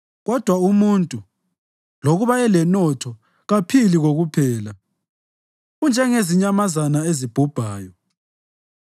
Kodwa umuntu, lokuba elenotho, kaphili kokuphela; unjengezinyamazana ezibhubhayo.